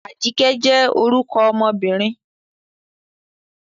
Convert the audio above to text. Ajike jẹ́ orúkọ ọmọbìnrin.